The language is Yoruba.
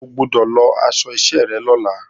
O gbọ́dọ̀ lọ aṣọ iṣẹ́ rẹ lọ́la!